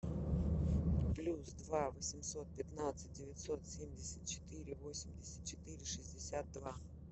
плюс два восемьсот пятнадцать девятьсот семьдесят четыре восемьдесят четыре шестьдесят два